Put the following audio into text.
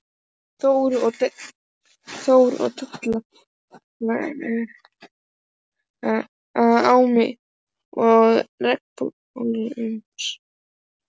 Þór, og deila á mig og regnbogasilunginn.